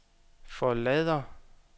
forlader